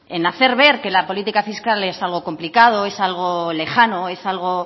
en hacer ver que la política fiscal es algo complicado es algo lejano es algo